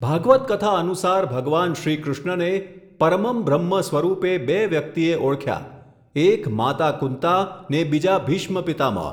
ભાગવત કથા અનુસાર ભગવાન શ્રીકૃષ્ણને, પરમં બ્રહ્મ સ્વરૂપે બે વ્યક્તિએ ઓળખ્યા, એક માતા કુન્તા ને બીજા ભીષ્મ પિતામહ.